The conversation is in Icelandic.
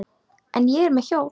En ég er með hjól.